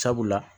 Sabula